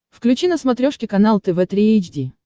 включи на смотрешке канал тв три эйч ди